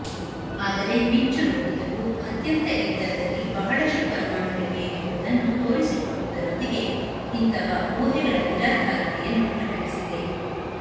ಆದರೆ ಮಿಂಚುರೋಹಿತವು ಅತ್ಯಂತ ಎತ್ತರದಲ್ಲಿ ಬಹಳಷ್ಟು ಪರಮಾಣುಗಳಿವೆ ಎಂಬುದನ್ನು ತೋರಿಸಿಕೊಡುವುದರೊಂದಿಗೆ ಇಂತಹ ಊಹೆಗಳ ನಿರಾಧಾರತೆಯನ್ನು ಪ್ರಕಟಿಸಿದೆ